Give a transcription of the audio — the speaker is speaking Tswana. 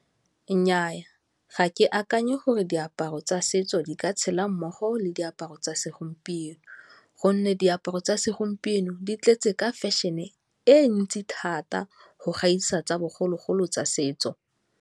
Nnyaa, ga ke akanye gore diaparo tsa setso di ka tshela mmogo le diaparo tsa segompieno gonne diaparo tsa segompieno di tletse ka fashion-e e ntsi thata go gaisa tsa bogologolo tsa setso.